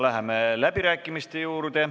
Läheme läbirääkimiste juurde.